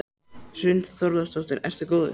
Hrund Þórsdóttir: Ertu góður?